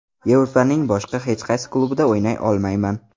Yevropaning boshqa hech qaysi klubida o‘ynay olmayman.